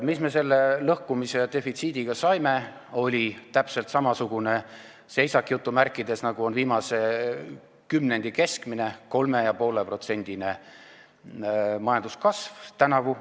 " Mis me selle lõhkumise ja defitsiidi tagajärjel saime, oli täpselt samasugune "seisak", nagu on viimase kümnendi keskmine: 3,5%-ne majanduskasv tänavu.